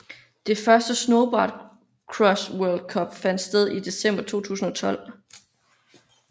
Det første Snowboard Cross World Cup fandt sted i december 2012